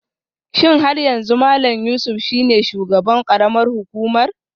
Shin har yanzu Malam Yusuf shine shugaban karamar hukumar?